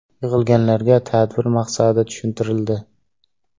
Yig‘ilganlarga tadbir maqsadi tushuntirildi.